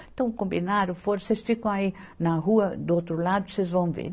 Então combinaram, foram, vocês ficam aí na rua do outro lado, vocês vão ver.